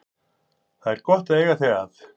Það er gott að eiga þig að.